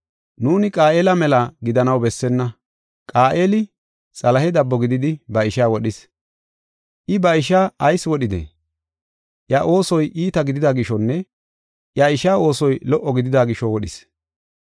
Nuuni Qaayela mela gidanaw bessenna. Qaayela Xalahe dabbo gididi ba ishaa wodhis. I ba ishaa ayis wodhidee? Iya oosoy iita gidida gishonne iya ishaa oosoy lo77o gidida gisho wodhis.